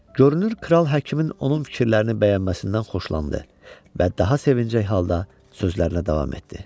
Görünür kral həkimin onun fikirlərini bəyənməsindən xoşlandı və daha sevincək halda sözlərinə davam etdi.